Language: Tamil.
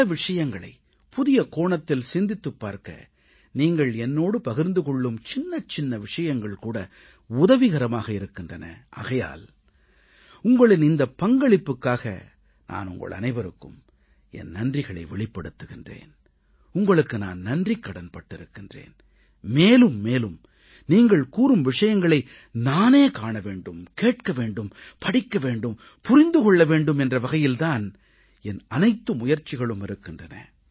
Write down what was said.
பல விஷயங்களைப் புதிய கோணத்தில் சிந்தித்துப் பார்க்க நீங்கள் என்னோடு பகிர்ந்து கொள்ளும் சின்னச்சின்ன விஷயங்கள் கூட உதவிகரமாக இருக்கின்றன ஆகையால் உங்களின் இந்தப் பங்களிப்புக்காக நான் உங்கள் அனைவருக்கும் என் நன்றிகளை வெளிப்படுத்துகிறேன் உங்களுக்கு நான் நன்றிக்கடன் பட்டிருக்கிறேன் மேலும் மேலும் நீங்கள் கூறும் விஷயங்களை நானே காண வேண்டும் கேட்க வேண்டும் படிக்க வேண்டும் புரிந்து கொள்ள வேண்டும் என்ற வகையிலே தான் என் அனைத்து முயற்சிகளும் இருக்கின்றன